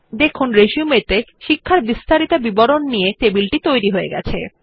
দেখুন রিসিউম ত়ে শিক্ষার বিস্তারিত বিবরণ নিয়ে টেবিল তৈরী হয়ে গেছে